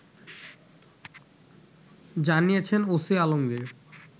জানিয়েছেন ওসি আলমগীর